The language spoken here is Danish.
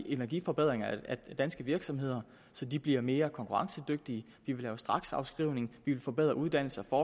i energiforbedringer af danske virksomheder så de bliver mere konkurrencedygtige vi vil lave straksafskrivning vi vil forbedre uddannelse og